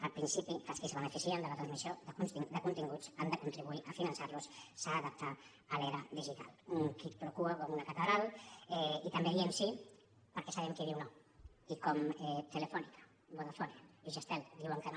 el principi que els qui es beneficien de la transmissió de continguts han de contribuir a finançar los s’ha d’adaptar a l’era digital un quid pro quoi també hi diem que sí perquè sabem qui hi diu no i com telefónica vodafone i jazztel hi diuen que no